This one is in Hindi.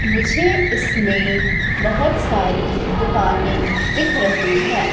मुझे इसमें बहोत सारी दुकानें दिख रही है।